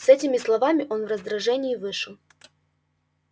с этими словами он в раздражении вышел